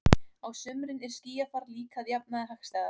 Á sumrin er skýjafar líka að jafnaði hagstæðast.